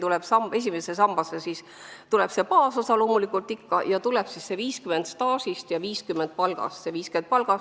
Esimesse sambasse tuleb loomulikult baasosa ja 50% ulatuses arvestatakse staaži ja 50% ulatuses palka.